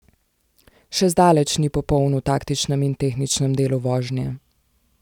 Še zdaleč ni popoln v taktičnem in tehničnem delu vožnje.